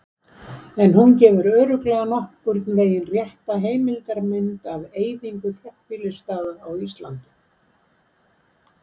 en hún gefur örugglega nokkurn veginn rétta heildarmynd af eyðingu þéttbýlisstaða á íslandi